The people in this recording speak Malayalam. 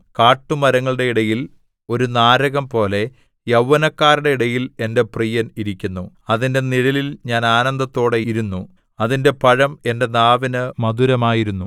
കാട്ടുമരങ്ങളുടെ ഇടയിൽ ഒരു നാരകംപോലെ യൗവനക്കാരുടെ ഇടയിൽ എന്റെ പ്രിയൻ ഇരിക്കുന്നു അതിന്റെ നിഴലിൽ ഞാൻ ആനന്ദത്തോടെ ഇരുന്നു അതിന്റെ പഴം എന്റെ നാവിന് മധുരമായിരുന്നു